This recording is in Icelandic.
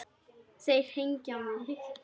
Þeir hengja mig?